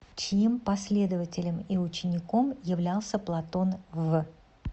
чьим последователем и учеником являлся платон в